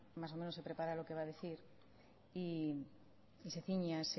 más o menos se prepara lo que va a decir y se ciñe